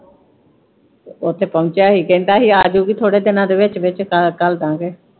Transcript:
ਉਥੋਂ ਪਹੁੰਚਿਆ ਹੀ ਕਹਿੰਦਾ ਹੀ ਆਜੂ ਗੀ ਥੋੜੇ ਦਿਨਾਂ ਦੇ ਵਿਚ ਵਿਚ ਤਾਂ ਘਲ ਦਾ ਗੇ।